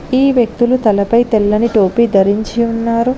ఈ వ్యక్తులు తలపై తెల్లని టోపీ ధరించి ఉన్నారు.